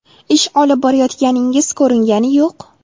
Ish olib borayotganingiz ko‘ringani yo‘q.